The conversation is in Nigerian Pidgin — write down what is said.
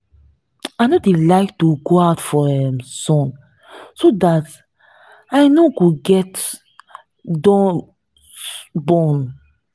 i no dey like to go out for um sun so dat i no go get dun burn